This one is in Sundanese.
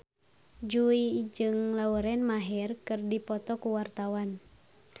Jui jeung Lauren Maher keur dipoto ku wartawan